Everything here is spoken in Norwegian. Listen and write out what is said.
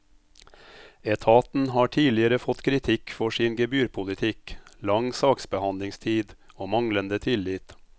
Etaten har tidligere fått kritikk for sin gebyrpolitikk, lang saksbehandlingstid og manglende tillit.